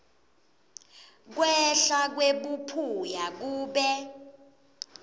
kwehla kwebuphuya kube